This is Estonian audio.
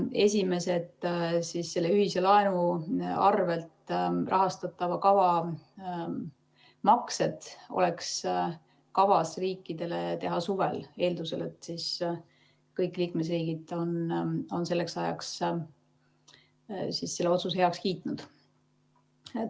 Esimesed selle ühise laenu arvel rahastatava kava maksed oleks kavas riikidele teha suvel, eeldusel, et kõik liikmesriigid on selleks ajaks selle otsuse heaks kiitnud.